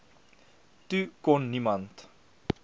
toe kon niemand